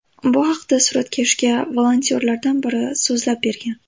Bu haqda suratkashga volontyorlardan biri so‘zlab bergan.